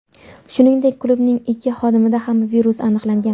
Shuningdek, klubning ikki xodimida ham virus aniqlangan.